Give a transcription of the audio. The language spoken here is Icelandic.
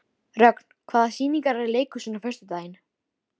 Rögn, hvaða sýningar eru í leikhúsinu á föstudaginn?